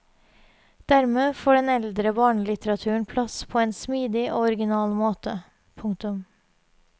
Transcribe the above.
Dermed får den eldre barnelitteraturen plass på en smidig og original måte. punktum